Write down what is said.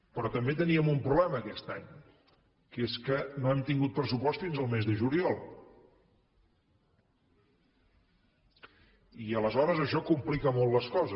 però també teníem un problema aquest any que és que no hem tingut pressupost fins al mes de juliol i aleshores això complica molt les coses